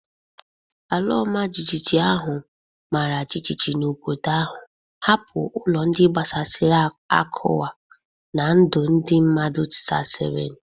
Ala ọmajiji ahụ mara jijiji n’obodo ahụ, hapụ ụlọ ndị gbasasịrị akụwa na ndụ ndị mmadụ tisasịrị.